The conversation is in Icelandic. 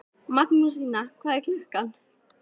Magnúsína, hvað er klukkan?